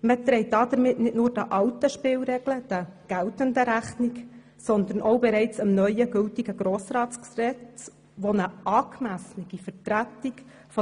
Damit trägt man nicht nur den alten, geltenden Spielregeln Rechnung, sondern auch bereits dem neu geltenden Grossratsgesetz, welches eine angemessene Vertretung